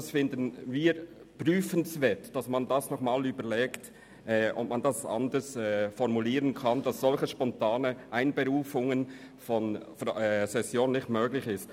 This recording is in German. Wir finden es prüfenswert zu überlegen, ob der Artikel anders formuliert werden könnte, damit solche spontane Einberufungen von Sessionen nicht möglich sind.